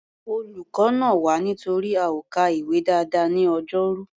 Olùkọ́ nà wá nítorí a ò ka ìwé dáadáa ní Ọjọ́rú.